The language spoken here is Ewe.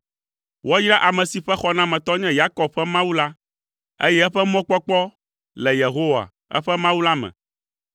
Woayra ame si ƒe xɔnametɔ nye Yakob ƒe Mawu la, eye eƒe mɔkpɔkpɔ le Yehowa, eƒe Mawu la me.